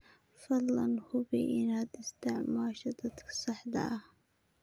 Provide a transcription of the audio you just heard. Fadlan hubi inaad isticmaasho qaabka saxda ah.